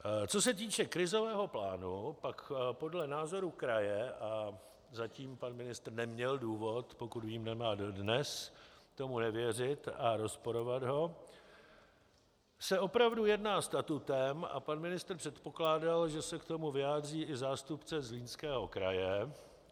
Co se týče krizového plánu, pak podle názoru kraje, a zatím pan ministr neměl důvod, pokud vím, nemá dodnes, tomu nevěřit a rozporovat ho, se opravdu jedná statutem - a pan ministr předpokládal, že se k tomu vyjádří i zástupce Zlínského kraje.